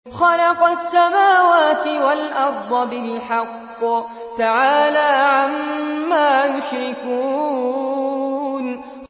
خَلَقَ السَّمَاوَاتِ وَالْأَرْضَ بِالْحَقِّ ۚ تَعَالَىٰ عَمَّا يُشْرِكُونَ